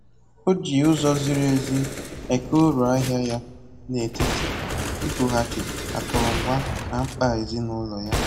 Ọ ji ụzọ ziri ezi eke uru ahịa ya n'etiti igoghachi akụrụngwa na mkpa ezinụlọ ya